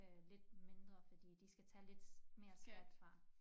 Øh lidt mindre fordi de skal tage lidt mere skat fra